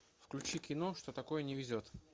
включи кино что такое не везет